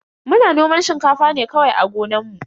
Muna noman shinkafa ne kawai a gonan mu.